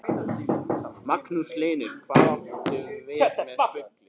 Magnús Hlynur: Hvað áttu við með bulli?